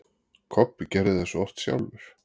Kobbi gerði svo oft sjálfur.